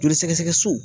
Joli sɛgɛsɛgɛ so